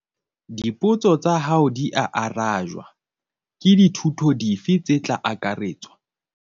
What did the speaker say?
Dipotso tsa hao dia arajwa. Ke dithuto dife tse tla akaretswa?